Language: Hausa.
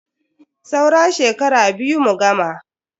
Saura shekara biyu mu gama.